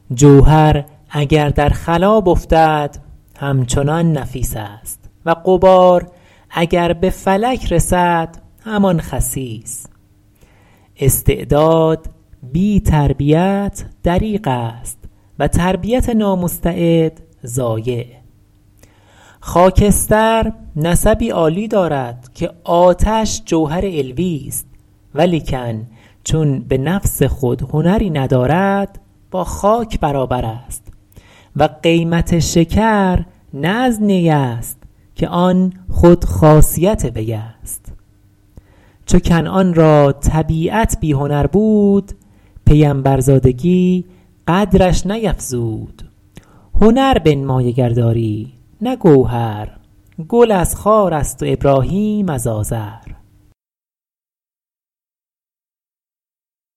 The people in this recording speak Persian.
جوهر اگر در خلاب افتد همچنان نفیس است و غبار اگر به فلک رسد همان خسیس استعداد بی تربیت دریغ است و تربیت نامستعد ضایع خاکستر نسبی عالی دارد که آتش جوهر علویست ولیکن چون به نفس خود هنری ندارد با خاک برابر است و قیمت شکر نه از نی است که آن خود خاصیت وی است چو کنعان را طبیعت بی هنر بود پیمبرزادگی قدرش نیفزود هنر بنمای اگر داری نه گوهر گل از خار است و ابراهیم از آزر